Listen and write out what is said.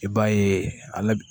I b'a ye ale